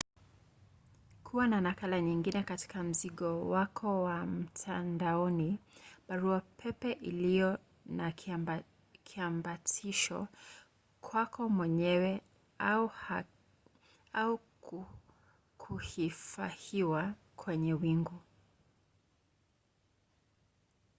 kuwa na nakala nyingine katika mzigo wako na mtandaoni baruapepe iliyo na kiambatisho kwako mwenyewe au kuhifahiwa kwenye wingu”